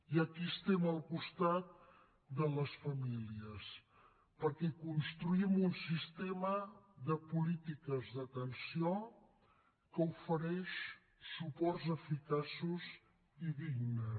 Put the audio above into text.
i aquí estem al costat de les famílies perquè construïm un sistema de polítiques d’atenció que ofereix suports eficaços i dignes